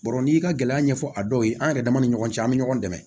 Bɔrɔ n'i y'i ka gɛlɛya ɲɛfɔ a dɔw ye an yɛrɛ dama ni ɲɔgɔn cɛ an be ɲɔgɔn dɛmɛ